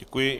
Děkuji.